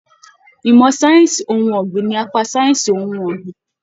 Ìmọ sáyẹnsì ohùn ọgbin ní apá sáyẹnsì ohùn ọgbin.